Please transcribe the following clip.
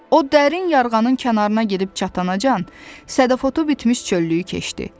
O dərin yarğanın kənarına gedib çatınacan sədafotu bitmiş çöllüyü keçdi.